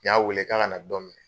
N y'a weele k'a kana dɔ minɛ